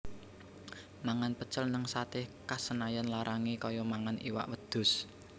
Mangan pecel ning Sate Khas Senayan larange koyo mangan iwak wedhus